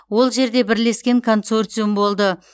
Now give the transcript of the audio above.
ол жерде бірлескен консорциум болды